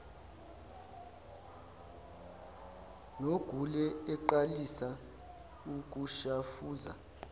nogule aqalise ukushafuza